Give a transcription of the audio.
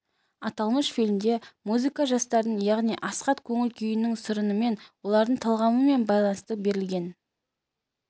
аталмыш фильмде музыка жастардың яғни асхат көңіл-күйінің сарынымен олардың талғамымен байланысты берілген